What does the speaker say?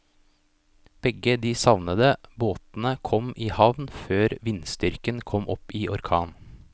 Begge de savnede båtene kom i havn før vindstyrken kom opp i orkan.